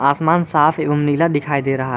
आसमान साफ एवं नीला दिखाई दे रहा है।